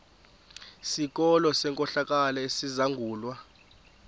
sikolo senkohlakalo esizangulwa